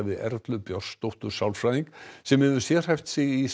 við Erlu Björnsdóttur sálfræðing sem hefur sérhæft sig í